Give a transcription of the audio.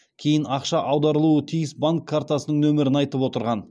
кейін ақша аударылуы тиіс банк картасының нөмірін айтып отырған